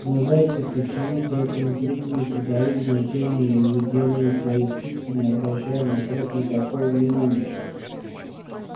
но зайцы почему-то этому крику не придают значения и выделывают свои скидки не обращая на сорок никакого внимания